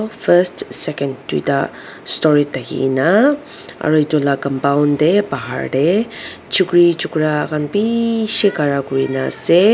first second tuita storey thakina aro edu la compund tae bahar tae chukri chura khan bishi khara kurina ase.